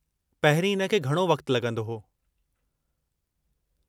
पहिरीं इन खे घणो वक़्ति लॻंदो हो।